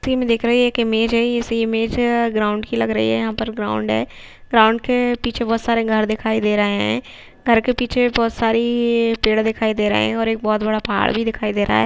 इस पिक्चर में दिख रहा हैं एक इमेज हैं इस इमेज ग्राउंड की लग रही हैं यहां पर ग्राउंड हैं ग्राउंड के पीछे बहुत सारे घर दिखाई दे रहैं हैं घर के पीछे भी बहुत सारे पेड़ दिखाई दे रहैं है और एक बहुत बड़ा पहाड़ भी दिखाई दे रहा हैं।